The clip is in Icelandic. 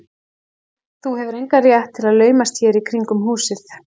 Þú hefur engan rétt til að laumast hér í kringum húsið.